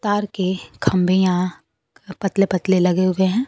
तार के खंभे यहां पतले पतले लगे हुए है।